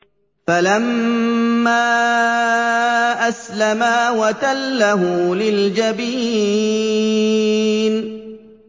فَلَمَّا أَسْلَمَا وَتَلَّهُ لِلْجَبِينِ